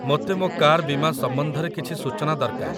ମୋତେ ମୋ କାର୍ ବୀମା ସମ୍ବନ୍ଧରେ କିଛି ସୂଚନା ଦରକାର।